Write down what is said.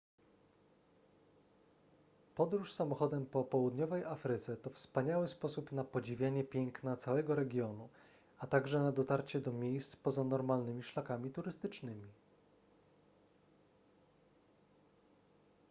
podróż samochodem po południowej afryce to wspaniały sposób na podziwianie piękna całego regionu a także na dotarcie do miejsc poza normalnymi szlakami turystycznymi